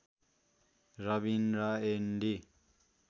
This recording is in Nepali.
रबिन र एन्डी